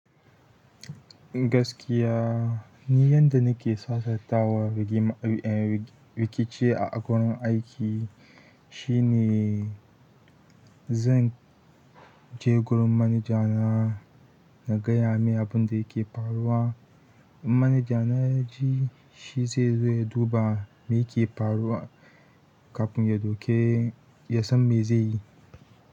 Gaskiya, ni yadda nake sassauta wa rikici a gurin aiki shine zan je gurin manager nah na gaya mai abunda ya ke faruwa, in manager na ya ji shi sai ya zo ya duba miye ya ke faruwa ka fin ya san meye zai yi.